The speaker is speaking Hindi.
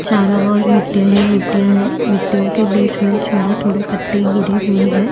चारो और मिटियाँ ही मिटियाँ हैं मीटियों के बीच में थोड़े-थोड़े पत्ते गिरे हुए हैं।